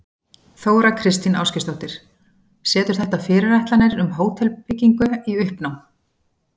Þóra Kristín Ásgeirsdóttir: Setur þetta fyrirætlanir um hótelbyggingu í uppnám?